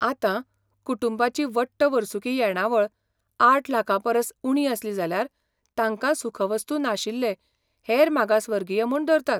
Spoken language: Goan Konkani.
आतां, कुटूंबाची वट्ट वर्सुकी येणावळ आठ लाखां परस उणी आसली जाल्यार तांकां सुखवस्तू नाशिल्ले हेर मागासवर्गीय म्हूण धरतात.